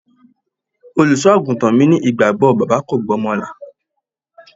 Olùsọ-àgùntàn mi ní ìgbàgbọ́ bàbá kò gba ọmọ là.